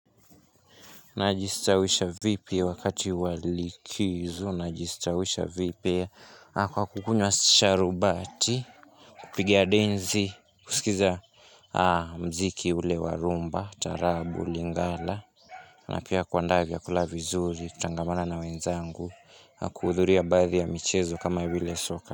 Na jistawisha vipi wakati wali kizu na jisutawisha vipi ya hakuha kukunwa sharubati, kupigi denzi, kuskiza muziki ulewa rhumba, taarabu, lingala. Na pia kuandaa vyakula vizuri kutangamana wenzango, hakuwa dhuria badhi ya michezo kama vile soka.